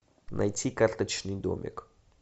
найти карточный домик